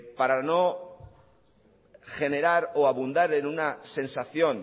para no generar o abundar en una sensación